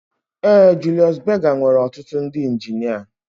Ee Julius Berger nwere ọtụtụ ndị injinia